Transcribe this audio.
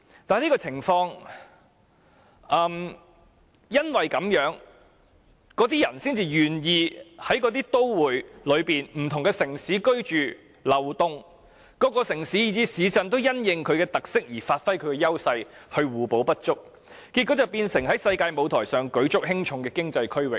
正因如此，人們才願意在都會區的不同城市居住和流動，各城市以至市鎮也因應其特色而發揮優勢，互補不足，結果成為在世界舞台舉足輕重的經濟區域。